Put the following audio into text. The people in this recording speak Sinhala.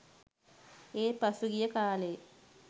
ඒත් පසුගිය කාලේ